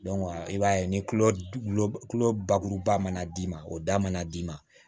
i b'a ye ni bakuruba mana d'i ma o da mana d'i ma